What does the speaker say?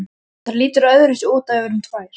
Það lítur öðruvísi út ef við erum tvær.